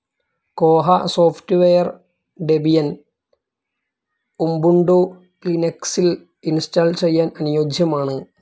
കോഹ software Debian, Ubuntu ലിനക്സിൽ install ചെയ്യാൻ അനുയോജ്യമാണ്.